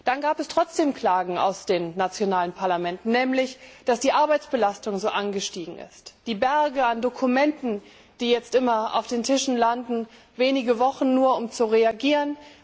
Dann gab es trotzdem Klagen aus den nationalen Parlamenten, nämlich, dass die Arbeitsbelastung so angestiegen ist, die Berge an Dokumenten, die jetzt immer auf den Tischen landen wenige Wochen nur, um zu reagieren.